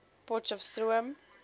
potcheftsroom